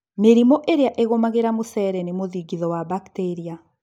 mĩrimũ ĩrĩa ĩgũmagĩra mucere nĩ mũthingitho wa bacteria